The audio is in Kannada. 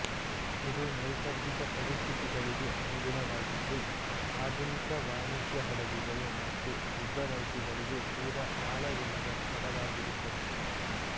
ಇದು ನೈಸರ್ಗಿಕ ಪರಿಸ್ಥಿತಿಗಳಿಗೆ ಅನುಗುಣವಾಗಿದ್ದು ಆಧುನಿಕ ವಾಣಿಜ್ಯ ಹಡಗುಗಳು ಮತ್ತು ಯುದ್ಧನೌಕೆಗಳಿಗೆ ತೀರಾ ಆಳವಿಲ್ಲದ ಸ್ಥಳವಾಗಿರುತ್ತದೆ